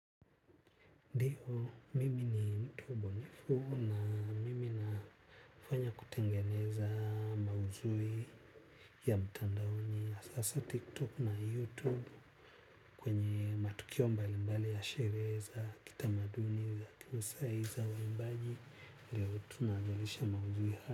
Ndio, mimi ni mtu bunifu na mimi nafanya kutengeneza mauzui ya mtandaoni ya sasa tiktok na youtube kwenye matukio mbali mbali ya sherehe za kitamaduni ya kimaasai za uimbaji ndio tunajalisha mauzui haa.